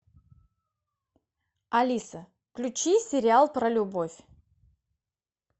алиса включи сериал про любовь